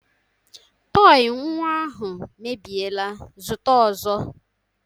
Tọị nnwa ahụ mebiela, zụta ọzọ!